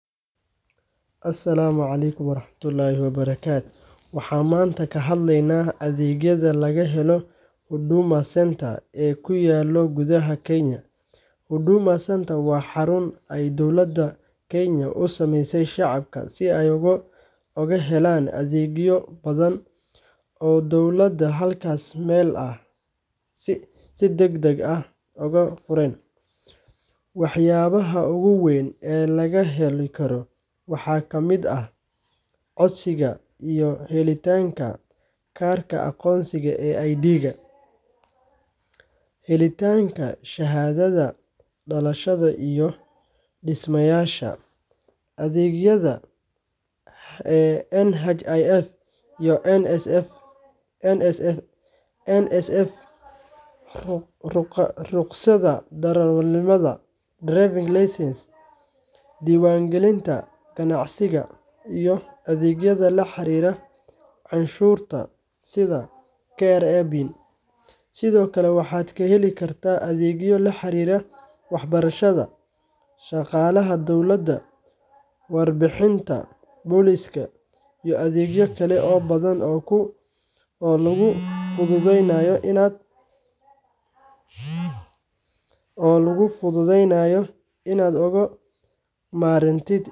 Asalaamu calaykum waraxmatullaahi wabarakaatuh Waxaan maanta ka hadleynaa adeegyada laga helo Huduma Centres ee ku yaal gudaha Kenya. Huduma Centre waa xarun ay dowladda Kenya u sameysay shacabka si ay ugu helaan adeegyo badan oo dowladeed hal meel ah, si degdeg ah oo hufan. Waxyaabaha ugu waaweyn ee laga heli karo waxaa ka mid ah: codsiga iyo helitaanka kaarka aqoonsiga ee ID, helitaanka shahaadada dhalashada iyo dhimashada, adeegyada NHIF iyo NSSF, rukhsadda darawalnimada driving license)diiwaangelinta ganacsiga, iyo adeegyada la xiriira canshuuraha sida KRA PIN. Sidoo kale, waxaad ka heli kartaa adeegyo la xiriira waxbarashada, shaqaalaha dowladda, warbixinaha booliska, iyo adeegyo kale oo badan oo laguu fududeynayo inaad uga maarantid safarka dheer u gasho xafiisyo.